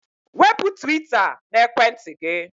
Wepụ twita n'ekwentị gị!